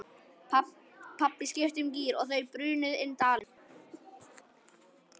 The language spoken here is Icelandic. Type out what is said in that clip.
Pabbi skipti um gír og þau brunuðu inn dalinn.